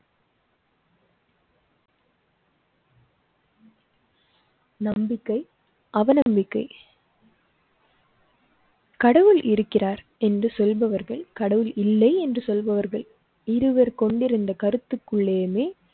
நம்பிக்கை அவநம்பிக்கை. கடவுள் இருக்கிறார் என்று சொல்பவர்கள் கடவுள் இல்லை என்று சொல்பவர்கள் இருவர் கொண்டிருந்த கருத்துக்குள்ளேமே